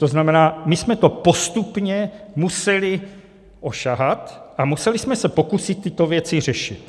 To znamená, my jsme to postupně museli osahat a museli jsme se pokusit tyto věci řešit.